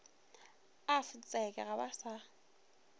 a fotseke ga ba sa